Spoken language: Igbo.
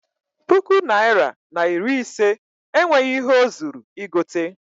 Puku naịra na iri ise enweghị ihe o zuru igote.